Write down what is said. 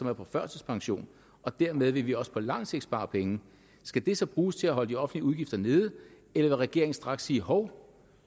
er på førtidspension og dermed vil vi også på lang sigt spare penge skal de så bruges til at holde de offentlige udgifter nede eller vil regeringen straks sige hov